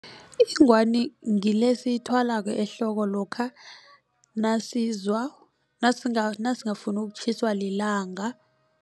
Ingwani ngile esiyithwalako ehloko lokha nasizwa nasingafuni ukutjhiswa lilanga.